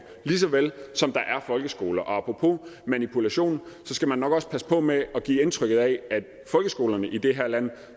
lige så vel som der er folkeskoler apropos manipulation så skal man nok også passe på med at give indtryk af at folkeskolerne i det her land